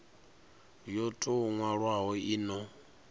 yo tou nwalwaho i no